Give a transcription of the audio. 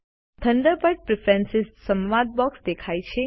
Thunderbird preference સંવાદ box દેખાય છે